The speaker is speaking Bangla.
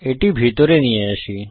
এটি ভিতরে নিয়ে আসি